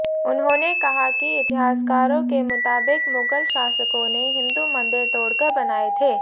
उन्होंने कहा कि इतिहासकारों के मुताबिक मुगल शासकों ने हिंदू मंदिर तोड़कर बनाए थे